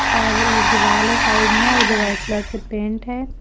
और एक दीवाल है साइड में और जो वाइट कलर से पेंट है।